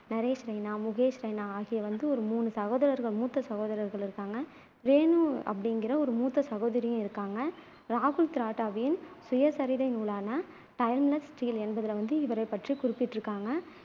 நரேஷ் ரெய்னா, முகேஷ் ரெய்னா ஆகிய வந்து மூணு சகோதரர் மூத்த சகோதரர்கள் இருக்காங்க ரேனு அப்படிங்குற ஒரு மூத்த சகோதரியும் இருக்காங்க ராகுல் திராவிட்டின் சுயசரிதை நூலான timeless steel என்பதில வந்து இவரைப் பற்றி குறிப்பிட்டுருக்காங்க